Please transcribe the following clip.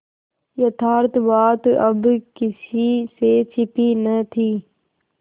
यथार्थ बात अब किसी से छिपी न थी